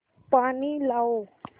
पानी लाओ